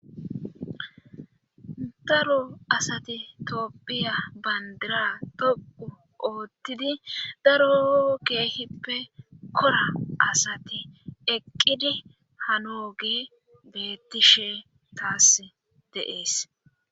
Daro asati tooppiya bandira toqu oottidi daro keehippe kora asati eqqidi hano ge beettishe taas deees